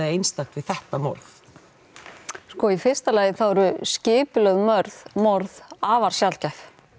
einstakt við þetta morð sko í fyrsta lagi þá eru skipulögð morð morð afar sjaldgæf